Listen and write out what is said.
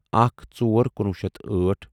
اکھ ژور کُنوُہ شیٚتھ أٹھ